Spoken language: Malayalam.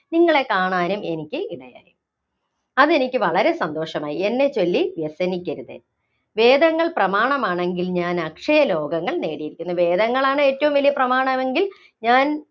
നിങ്ങളെ കാണാനും എനിക്കു ഇടയായി. അതെനിക്ക് വളരെ സന്തോഷമായി. എന്നെച്ചൊല്ലി വ്യസനിക്കരുത്. വേദങ്ങള്‍ പ്രമാണമാണെങ്കില്‍ ഞാന്‍ അക്ഷയലോകങ്ങള്‍ നേടിയിരിക്കുന്നു. വേദങ്ങളാണ് ഏറ്റവും വലിയ പ്രമാണമെങ്കില്‍ ഞാന്‍